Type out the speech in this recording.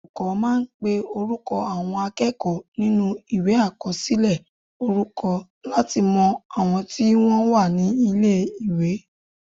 Olùkọ́ máa ń pe orúkọ àwọn akẹ́kọ̀ọ́ nínú Ìwé àkọsílẹ̀ orúkọ láti mọ àwọn tí wọ́n wà ní ilé-ìwé